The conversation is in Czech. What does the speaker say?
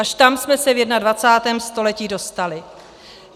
Až tam jsme se v 21. století dostali!